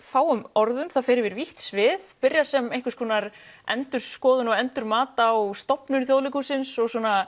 fáum orðum það fer yfir vítt svið byrjar sem einhvers konar endurskoðun og endurmat á stofnun Þjóðleikhússins